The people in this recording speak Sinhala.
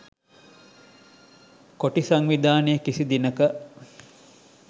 කොටි සංවිධානය කිසි දිනක